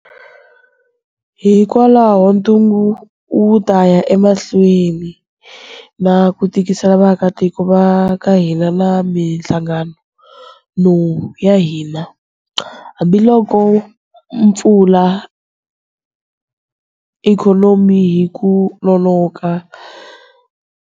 Hikwalaho ntungu wu ta ya emahlweni na ku tikisela vaakitiko va ka hina na mihlangano ya hina. Hambiloko hi pfula ikhonomi hi ku nonoka.